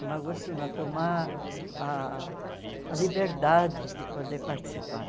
Tomar o gosto não, tomar ah a liberdade de poder participar.